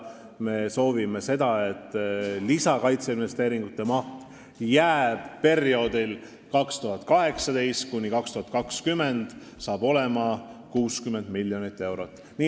Me soovime seda, et lisakaitseinvesteeringute maht jääb perioodiks 2018–2020 ja see on 60 miljonit eurot.